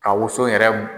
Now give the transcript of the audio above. Ka woson yɛrɛ